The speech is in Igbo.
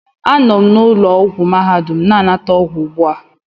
Anọ m na ụlọ ọgwụ mahadum na-anata ọgwụgwọ ugbu a